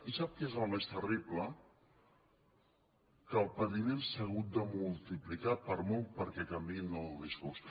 i sap què és el més terrible que el patiment s’ha hagut de multiplicar per molt perquè canviïn el discurs